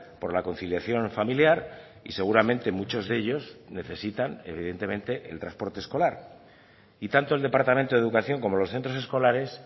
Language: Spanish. por la conciliación familiar y seguramente muchos de ellos necesitan evidentemente el transporte escolar y tanto el departamento de educación como los centros escolares